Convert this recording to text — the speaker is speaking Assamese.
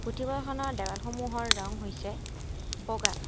পুথিভঁৰালখনৰ দেৱাল সমূহৰ ৰং হৈছে বগা।